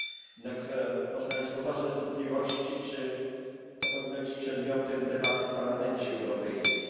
Jednak można mieć poważne wątpliwości, czy to powinno być przedmiotem debaty w Parlamencie Europejskim.